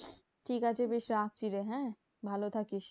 ঠিক আছে বেশ রাখছি রে হ্যাঁ? ভালো থাকিস।